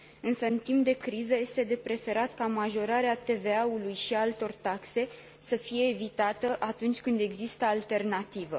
Pe timp de criză, însă, este de preferat ca majorarea TVA ului și a altor taxe să fie evitată, atunci când există alternativă.